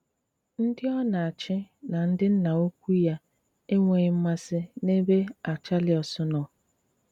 Ndị ọ na-àchì na ndị nnà ùkwù ya enweghị mmàsị n'ebe Àrchèlàus nọ